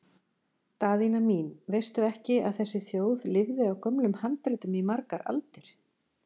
Daðína mín, veistu ekki að þessi þjóð lifði á gömlum handritum í margar aldir?